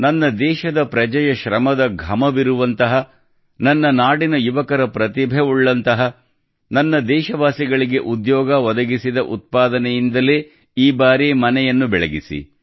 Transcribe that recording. ನನ್ನ ದೇಶದ ಪ್ರಜೆಯ ಶ್ರಮದ ಘಮವಿರುವಂತಹ ನನ್ನ ನಾಡಿನ ಯುವಕರ ಪ್ರತಿಭೆವುಳ್ಳಂತಹ ನನ್ನ ದೇಶವಾಸಿಗಳಿಗೆ ಉದ್ಯೋಗ ಒದಗಿಸಿದ ಉತ್ಪಾದನೆಯಿಂದಲೇ ಈ ಬಾರಿ ಮನೆಯನ್ನು ಬೆಳಗಿಸಿ